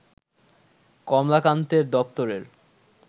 কমলাকান্তের দপ্তরের